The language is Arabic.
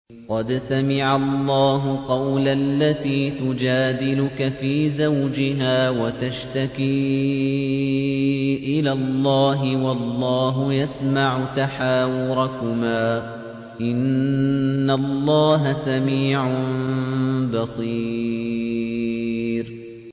قَدْ سَمِعَ اللَّهُ قَوْلَ الَّتِي تُجَادِلُكَ فِي زَوْجِهَا وَتَشْتَكِي إِلَى اللَّهِ وَاللَّهُ يَسْمَعُ تَحَاوُرَكُمَا ۚ إِنَّ اللَّهَ سَمِيعٌ بَصِيرٌ